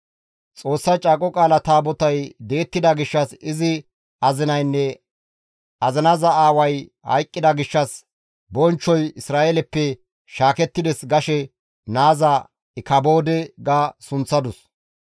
Xoossa Caaqo Qaala Taabotay di7ettida gishshas izi azinaynne azinaza aaway hayqqida gishshas, «Bonchchoy Isra7eeleppe shaakettides» gashe naaza, «Ikaboode» ga sunththadus.